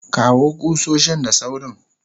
kawo kusoshin da sawrin